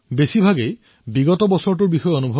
কিমান লোকে ফোন কৰিও নিজৰ কথা কৈছে